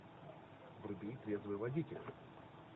вруби трезвый водитель